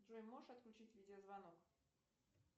джой можешь отключить видео звонок